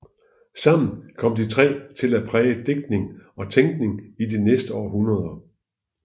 Sammen kom de tre til at præge digtning og tænkning i de næste århundreder